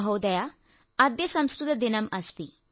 മഹോദയ അദ്യ സംസ്കൃത ദിനം അസ്തി